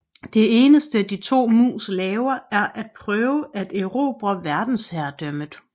Det eneste de to mus laver er at prøve at erobre verdensherredømmet